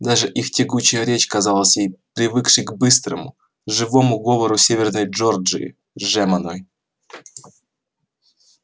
даже их тягучая речь казалась ей привыкшей к быстрому живому говору северной джорджии жеманной